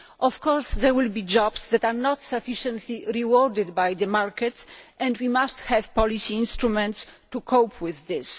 Of course, there will be jobs that are not sufficiently rewarded by the markets, and we must have policy instruments to cope with this.